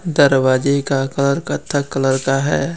दरवाजे का का घर कत्था कलर का है।